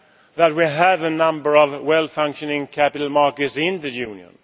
fact that we have a number of well functioning capital markets in the Union.